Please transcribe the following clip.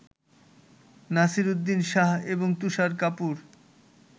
নাসিরউদ্দিন শাহ এবং তুষার কাপুর